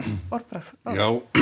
orðbragð já